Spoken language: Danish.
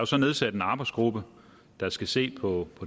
så nedsat en arbejdsgruppe der skal se på